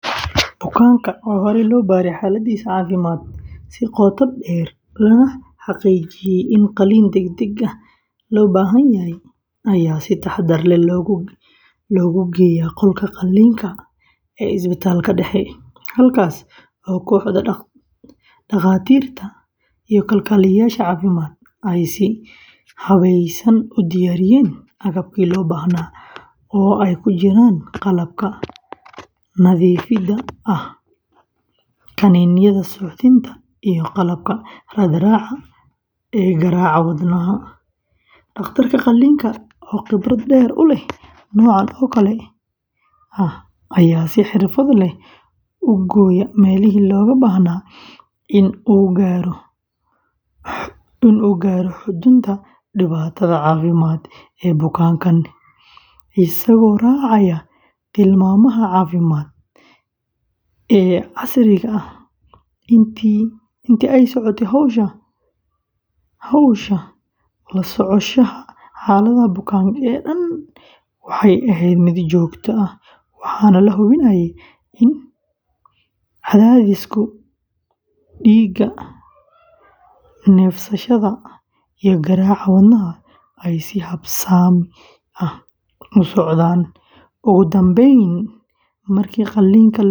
Bukaanka oo ay horey loo baaray xaaladiisa caafimaad si qoto dheer, lana xaqiijiyay in qalliin degdeg ah loo baahan yahay, ayaa si taxadar leh loogu geeyay qolka qalliinka ee isbitaalka dhexe, halkaas oo kooxda dhakhaatiirta iyo kalkaaliyeyaasha caafimaadka ay si habeysan u diyaariyeen agabkii loo baahnaa, oo ay ku jiraan qalabka nadiifta ah, kaniiniyada suuxdinta, iyo qalabka raad-raaca garaaca wadnaha; dhakhtarka qalliinka oo khibrad dheer u leh noocan oo kale ah ayaa si xirfad leh u gooyay meelihii looga baahnaa si uu u gaaro xudunta dhibaatada caafimaad ee bukaanka, isagoo raacaya tilmaamaha caafimaad ee casriga ah, intii ay socotay hawsha, la socoshada xaaladda bukaanka oo dhan waxay ahayd mid joogto ah, waxaana la hubinayay in cadaadiska dhiigga, neefsashada, iyo garaaca wadnaha ay si habsami ah u socdaan; ugu dambeyntiina, markii qalliinka lagu guuleystay, bukaanka.